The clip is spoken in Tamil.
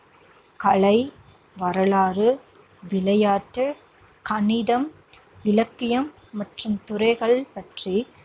கலை, வரலாறு, விளையாட்டு, கணிதம், இலக்கியம் மற்றும் துறைகள்பற்றிக்